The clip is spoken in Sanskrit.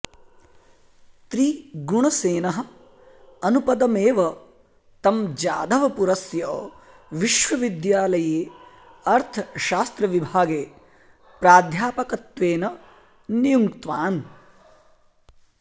त्रिगुणसेनः अनुपदमेव तं जाधवपुरस्य विश्वविद्यालये अर्थशास्त्रविभागे प्राध्यापकत्वेन नियुङ्क्तवान्